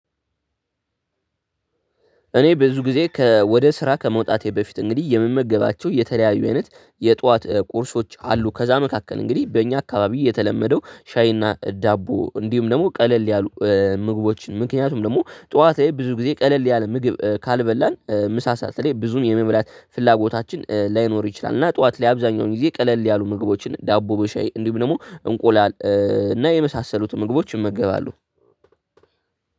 እኔ ብዙ ጊዜ ከወደ ስራ ከመውታቴ በፊት እንግዲህ የምመገባቸው የተለያዩ አይነት የጠዋት ቁርሶች አሉ ከዛ መካከል እንግዲህ በእኛ አካባቢ የተለመደው ሻይና ዳቦ እንዲሁም ደግሞ ቀለል ያሉ ምግቦችን ምክንያቱም ደግሞ ጠዋታ ላይ ብዙ ጊዜ ቀለል ያለ ምግብ ካልበላን ምሳ ሰዓት ላይ ብዙም የመብላት ፍላጎታችን ላይኖር ይችላል። እና ጠዋት ላይ አብዛኛውን ጊዜ ቀለል ያሉ ምግቦችን ዳቦ በሻይ እንዲሁም ደግሞ እንቁላል እና የመሳሰሉትን ምግቦች እመገባሉ።